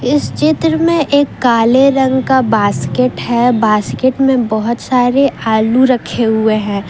इस चित्र में एक काले रंग का बास्केट है बास्केट में बहुत सारे आलू रखे हुए हैं ।